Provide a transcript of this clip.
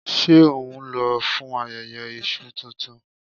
Ṣé ohun lọ fún ayẹyẹ Iṣu tuntun?